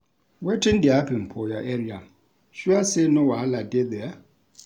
Wetin dey happen for your area, sure sey no wahala dey there.